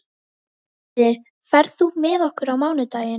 Víðir, ferð þú með okkur á mánudaginn?